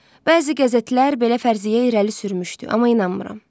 Bəzi qəzetlər belə fərziyyə irəli sürmüşdü, amma inanmıram.